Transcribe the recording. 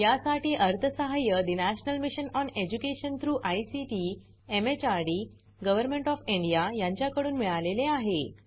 यासाठी अर्थसहाय्य national mission on education through ICT MHRD government of India यांच्याकडून मिळालेले आहे